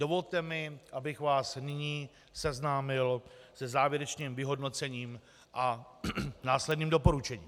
Dovolte mi, abych vás nyní seznámil se závěrečným vyhodnocením a následným doporučením.